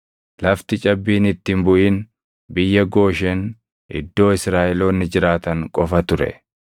Lafti cabbiin itti hin buʼin biyya Gooshen iddoo Israaʼeloonni jiraatan qofa ture.